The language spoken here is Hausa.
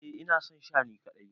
Eh ina son Sha ni kadai.